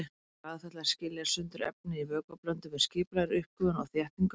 Eiming er aðferð til að skilja sundur efni í vökvablöndu með skipulegri uppgufun og þéttingu.